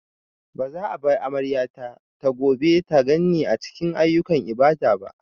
Ba za a bar amaryata ta gobe ta ganni a cikin ayyukan ibada ba.